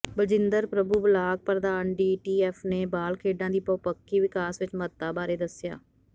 Baljinder Prabhu block ਪ੍ਰਧਾਨ DTF ਨੇ ਬਾਲ ਖੇਡਾਂ ਦੀ ਬਹਪੱਖੀ ਵਿਕਾਸ ਵਿੱਚ ਮਹੱਤਤਾ ਬਾਰੇ ਦੱਸਿਆ